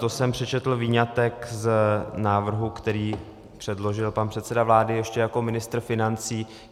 To jsem přečetl výňatek z návrhu, který předložil pan předseda vlády ještě jako ministr financí.